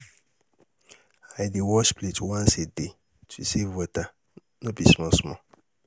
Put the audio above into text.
I dey wash plate once a day to save water, no be small small.